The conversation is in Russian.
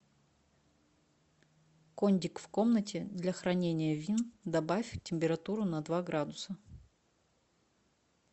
кондик в комнате для хранения вин добавь температуру на два градуса